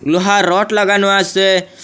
লোহার রড লাগানো আসে।